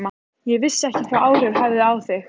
Ég vissi ekki hvaða áhrif það hefði á þig.